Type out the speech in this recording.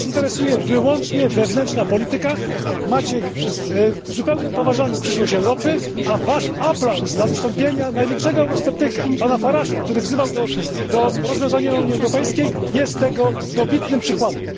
Was interesuje tylko wewnętrzna polityka, macie w głębokim poważaniu przyszłość Europy, a Wasz aplauz dla wystąpienia największego eurosceptyka, pana Faragea, który wzywał do rozwiązania Unii Europejskiej, jest tego dobitnym przykładem.